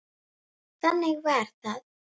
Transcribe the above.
Þannig var það.